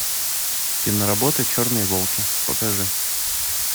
кино работа черные волки покажи